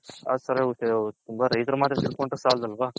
ರೈತ್ಹರ್ ಮಾತ್ರ ತಿಳ್ಕೊಂಡ್ರೆ ಸಲಾದ್ ಅಲ್ವ